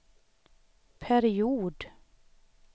period